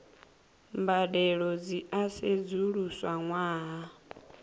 mbadelo dzi a sedzuluswa ṅwaha